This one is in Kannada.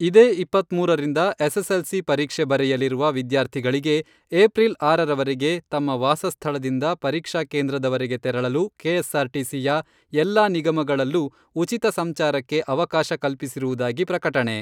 ಇದೇ ಇಪ್ಪತ್ಮೂರರಿಂದ ಎಸ್ಎಸ್ಎಲ್ಸಿ ಪರೀಕ್ಷೆ ಬರೆಯಲಿರುವ ವಿದ್ಯಾರ್ಥಿಗಳಿಗೆ ಏಪ್ರಿಲ್ ಆರರವರೆಗೆ ತಮ್ಮ ವಾಸಸ್ಥಳದಿಂದ ಪರೀಕ್ಷಾ ಕೇಂದ್ರದವರೆಗೆ ತೆರಳಲು ಕೆಎಸ್ಆರ್ಟಿಸಿಯ ಎಲ್ಲಾ ನಿಗಮಗಳಲ್ಲೂ ಉಚಿತ ಸಂಚಾರಕ್ಕೆ ಅವಕಾಶ ಕಲ್ಪಿಸಿರುವುದಾಗಿ ಪ್ರಕಟಣೆ .